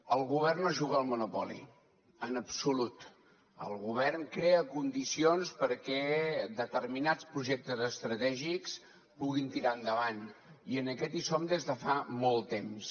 el govern no juga al monopoli en absolut el govern crea condicions perquè determinats projectes estratègics puguin tirar endavant i en aquest hi som des de fa molt temps